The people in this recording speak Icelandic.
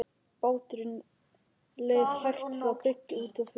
Báturinn leið hægt frá bryggju út á fjörð.